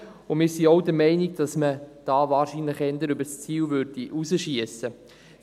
Wir sind auch der Meinung, dass man hier wohl eher über das Ziel hinausschiessen würde.